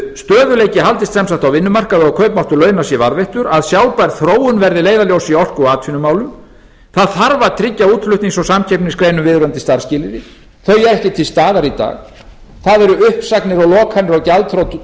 stöðugleiki haldist sem sagt á vinnumarkaði og kaupmáttur launa sé varðveittur að sjálfbær þróun verði leiðarljós í orku og atvinnumálum það þarf að tryggja útflutnings og samkeppnisgreinum viðunandi starfsskilyrði þau eru ekki til staðar í dag þá eru uppsagnir og lokanir og gjaldþrot